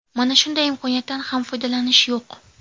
Mana shunday imkoniyatdan ham foydalanish yo‘q.